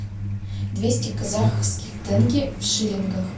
двести казахских тенге в шиллингах